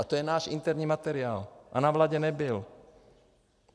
A to je náš interní materiál a na vládě nebyl.